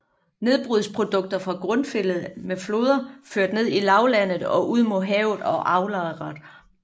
Nedbrudsprodukter fra grundfjeldet er med floder ført ned i lavlandet og ud mod havet og aflejret